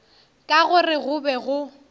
ka gore go be go